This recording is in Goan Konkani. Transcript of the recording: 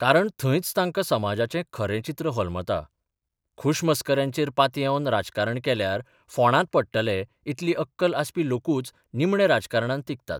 कारण थंयच तांकां समाजाचें खरें चित्र होलमता, खुशमस्कऱ्यांचेर पातयेवन राजकारण केल्यार फोंडांत पडटले इतली अक्कल आसपी लोकूच निमणे राजकारणांत तिगतात.